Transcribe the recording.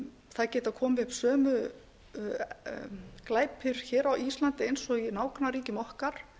það geta komið upp sömu glæpir á íslandi eins og í nágrannaríkjum okkar